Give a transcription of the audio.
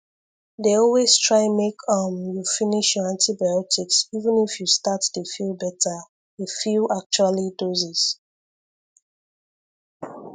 dey always try make um you finish your antibiotics even if you start dey feel better a few actually doses